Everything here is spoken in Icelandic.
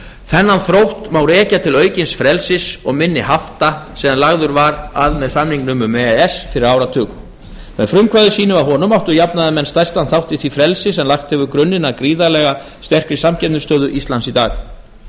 þennan þrótt má rekja til aukins frelsis og minni hafta sem lagður var grunnur að með e e s samningnum fyrir áratug með frumkvæði sínu að honum áttu jafnaðarmenn stærstan þátt í því frelsi sem lagt hefur grunninn að gríðarlega sterkri samkeppnisstöðu íslands í dag